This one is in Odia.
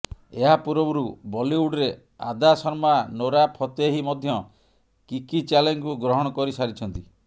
ଏହା ପୂର୍ବରୁ ବଲିଉଡରେ ଆଦା ଶର୍ମା ନୋରା ଫତେହି ମଧ୍ୟ କିକି ଚ୍ୟାଲେଞ୍ଜକୁ ଗ୍ରହଣ କରିସାରିଛନ୍ତି